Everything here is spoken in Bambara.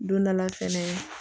Don dɔ la fɛnɛ